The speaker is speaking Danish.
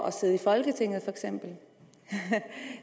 at sidde i folketinget